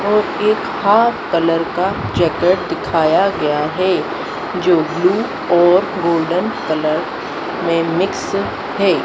और एक half colour का जैकेट दिखाया गया है जो ब्लू और गोल्डन कलर में मिक्स है।